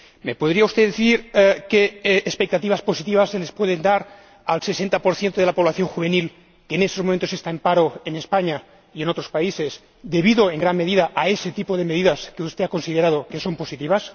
¿Me podría usted decir qué expectativas positivas se le pueden dar al 60 de la población juvenil que en estos momentos está en paro en España y en otros países, debido en gran medida a ese tipo de medidas que usted ha considerado que son positivas?